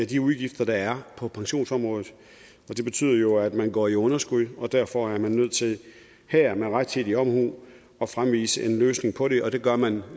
de udgifter der er på pensionsområdet og det betyder at man går i underskud og derfor er man nødt til her med rettidig omhu at fremvise en løsning på det og det gør man